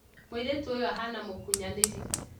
Mũirĩtu ũyũahana mũkunyanĩri